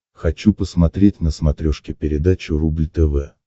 хочу посмотреть на смотрешке передачу рубль тв